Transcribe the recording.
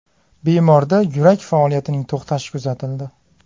Bemorda yurak faoliyatining to‘xtashi kuzatildi.